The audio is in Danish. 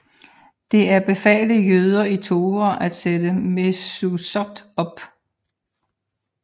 Det er befalet jøder i Torah at sætte mezuzot op